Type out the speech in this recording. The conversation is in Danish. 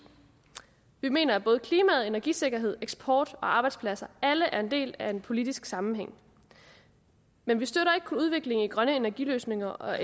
vi mener at både klimaet energisikkerhed eksport og arbejdspladser alle er en del af en politisk sammenhæng men vi støtter ikke kun udviklingen i grønne energiløsninger og